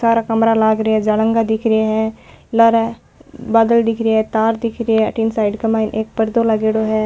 सारा कमरा लाग रा है जालंगा दिख रा है लार बादल दिख रा है तार दिख रा है अठीने साइड के माय एक पर्दो लागेड़ो है।